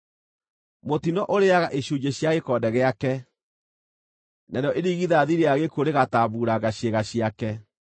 Mũtino ũrĩĩaga icunjĩ cia gĩkonde gĩake; narĩo irigithathi rĩa gĩkuũ rĩgatambuuranga ciĩga ciake.